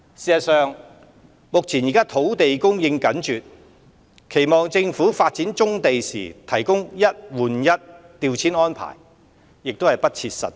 事實上，目前土地供應緊絀，期望政府發展棕地時提供"一換一"調遷安置亦不切實際。